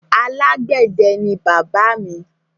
Alágbẹ̀dẹ ni bàbá mi.